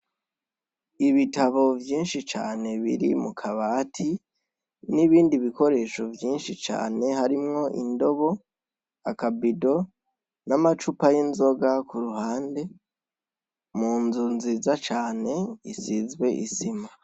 Ibitabo vyinshi Cane biri mukabati nibindi bikoresho vyinshi cane harimwo indobo ,akabido, namacupa yinzoga kuru hande munzu nziza cane isize isima.